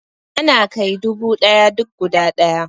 Yana kai dubu ɗaya duk guda ɗaya